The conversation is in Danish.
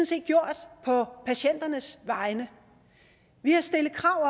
set gjort på patienternes vegne vi har stillet krav